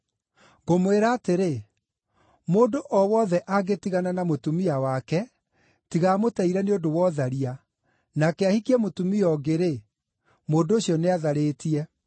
Ngũmwĩra atĩrĩ, mũndũ o wothe angĩtigana na mũtumia wake, tiga amũteire nĩ ũndũ wa ũtharia, nake ahikie mũtumia ũngĩ-rĩ, mũndũ ũcio nĩatharĩtie.”